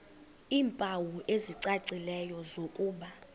iimpawu ezicacileyo zokuba